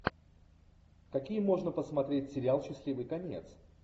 какие можно посмотреть сериал счастливый конец